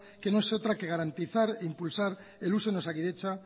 que no es otra que garantizar e impulsar el uso en osakidetza